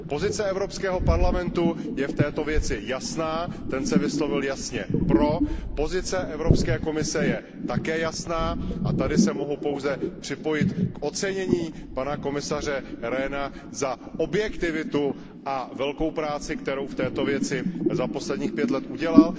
Pozice Evropského parlamentu je v této věci jasná, ten se vyslovil jasně pro, pozice Evropské komise je také jasná a tady se mohu pouze připojit k ocenění pana komisaře Rehna za objektivitu a velkou práci, kterou v této věci za posledních pět let udělal.